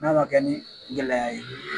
N'a ma kɛ ni gɛlɛya ye